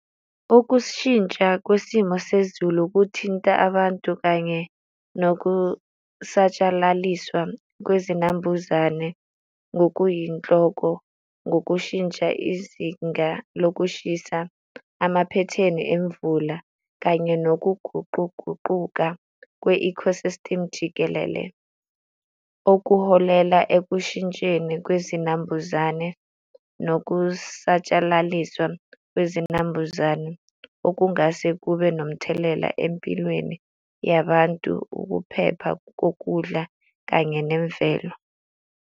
Ukushintsha kwesimo sezulu kuthinta abantu kanye nokusatshalaliswa kwezinambuzane ngokuyinhloko ngokushintsha izinga lokushisa amaphethini emvula kanye nokuguquguquka kwe-ecosystem jikelele, okuholela ekushintsheni kwezinambuzane nokusatshalaliswa kwezinambuzane okungase kube nomthelela empilweni yabantu, ukuphepha kokudla kanye nemvelo.